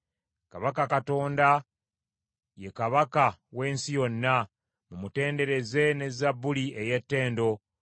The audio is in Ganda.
Kubanga Katonda ye Kabaka w’ensi yonna, mumutendereze ne Zabbuli ey’ettendo.